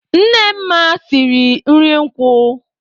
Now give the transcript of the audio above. Nne Nma siri nri nkwu.